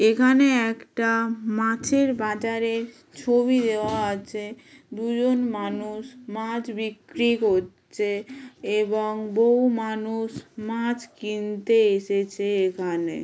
এখানে একটা মাছের বাজারের ছবি দেওয়া আছে। দুজন মানুষ মাছ বিক্রি করছে এবং বহু মানুষ মাছ কিনতে এসেছে এখানে।